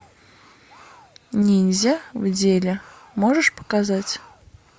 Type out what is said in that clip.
ниндзя в деле можешь показать